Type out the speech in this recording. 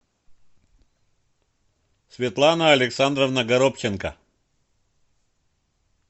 светлана александровна горобченко